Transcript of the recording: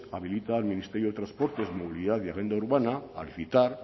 habilita al ministerio de transportes movilidad y agenda urbana al citar